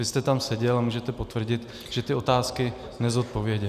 Vy jste tam seděl a můžete potvrdit, že ty otázky nezodpověděl.